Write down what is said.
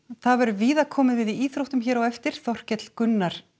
það verður víða komið við í íþróttum hér á eftir Þorkell Gunnar